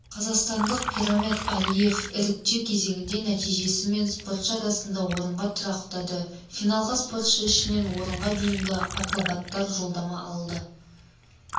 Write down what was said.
қазақстандықпирмамад алиевіріктеу кезеңінде нәтижесімен спортшы арасында орынға тұрақтады финалға спортшы ішінен орынға дейінгі акробаттар жолдама алды